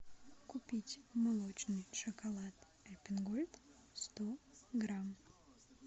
купить молочный шоколад альпен гольд сто грамм